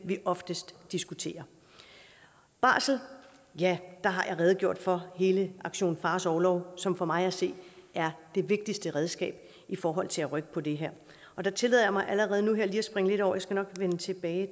vi oftest diskuterer barsel ja der har jeg redegjort for hele aktion fars orlov som for mig at se er det vigtigste redskab i forhold til at rykke på det her der tillader jeg mig allerede nu lige at springe lidt over jeg skal nok vende tilbage